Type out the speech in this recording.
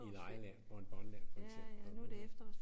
I legeland Bonbonland for eksempel